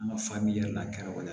An ka fa min yɛrɛ la kɛnɛma